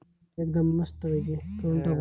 एकदम मस्त पैकी, करून टाकू